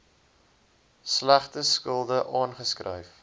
slegte skulde afgeskryf